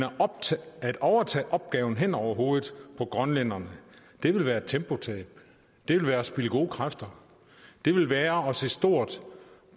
at overtage opgaven hen over hovedet på grønlænderne vil være et tempotab det vil være at spilde gode kræfter det vil være at se stort